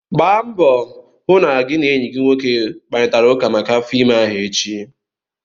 Gbaa mbọ hụ na gị na enyi gị nwoke kparịtara ụka maka afọ ime ahụ echi!